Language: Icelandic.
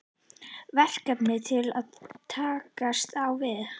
Verkefni til að takast á við?